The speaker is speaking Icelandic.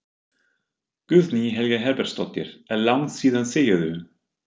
Guðný Helga Herbertsdóttir: Er langt síðan segirðu?